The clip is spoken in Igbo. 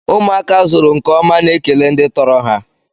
Ụmụaka azụrụ nkeọma na-ekele ndị tọrọ ha.